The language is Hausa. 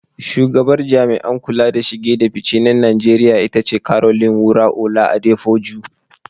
Shugabar Jami'an kula da shige da fice na Najeriya ita ce Caroline Wura-Ola Adepoju.